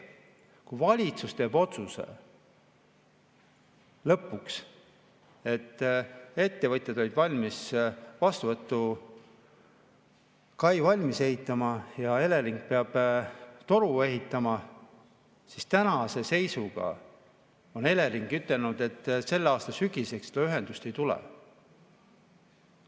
Kui valitsus tegi lõpuks otsuse ja ettevõtjad on valmis vastuvõtukai valmis ehitama ja Elering peaks toru ehitama, siis tänase seisuga on Elering ütelnud, et selle aasta sügiseks seda ühendust ei tule.